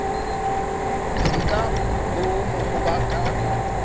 se ka boomo goba ka